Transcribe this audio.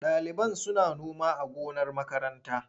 Ɗaliban suna noma a gonar makaranta.